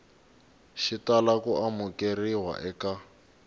xi tala ku amukeriwa eka